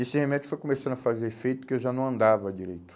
E esse remédio foi começando a fazer efeito que eu já não andava direito.